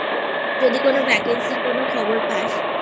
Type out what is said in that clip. যদি কোন vacancy এর কোন খবর পাসI